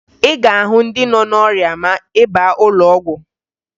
Ị ga-ahụ ndị nọ n'ọrịa ma ị baa n'ụlọọgwụ